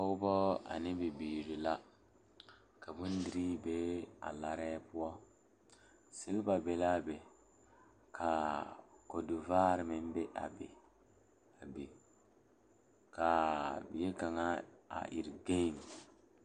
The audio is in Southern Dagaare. Pɔgeba ane bibiiri la ka bondire a kabɔɔti poɔ ka talaare be a be poɔ kaa kodo vaare meŋ be a be kaa bie kaŋa a iri gaŋe.